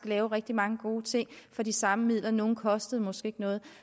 lave rigtig mange gode ting for de samme midler nogle kostede måske ikke noget